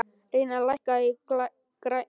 Reynar, lækkaðu í græjunum.